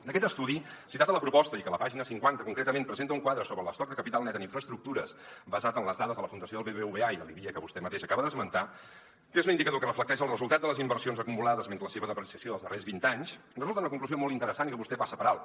d’aquest estudi citat a la proposta i que a la pàgina cinquanta concretament presenta un quadre sobre l’estoc de capital net en infraestructures basat en les dades de la fundació del bbva i que vostè mateix acaba d’esmentar que és un indicador que reflecteix el resultat de les inversions acumulades menys la seva depreciació dels darrers vint anys en resulta una conclusió molt interessant i que vostè passa per alt